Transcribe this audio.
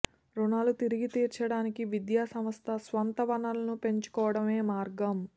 రుణాలు తిరిగి తీర్చడానికి విద్యా సంస్థ స్వంత వనరులను పెంచుకోవడమే మార్గం